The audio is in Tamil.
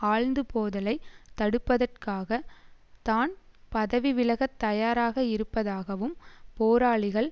ஆழ்ந்து போதலை தடுப்பதற்காக தான் பதவி விலகத் தயாராக இருப்பதாகவும் போராளிகள்